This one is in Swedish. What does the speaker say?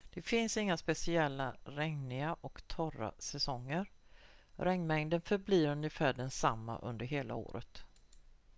"det finns inga speciella "regniga" och "torra" säsonger: regnmängden förblir ungefär densamma under hela året.